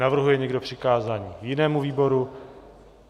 Navrhuje někdo přikázání jinému výboru?